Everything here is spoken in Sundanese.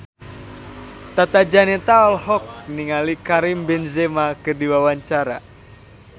Tata Janeta olohok ningali Karim Benzema keur diwawancara